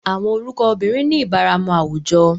Awọn orukọ obirin ni ibaramu awujọ